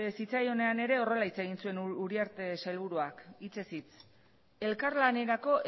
zitzaionean ere horrela hitz egin zuen uriarte sailburuak hitzez hitz elkarlanerako